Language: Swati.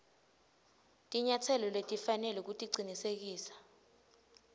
tinyatselo letifanele kucinisekisa